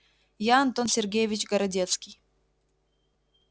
я антон сергеевич городецкий